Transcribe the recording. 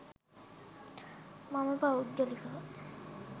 මම පෞද්ගලිකව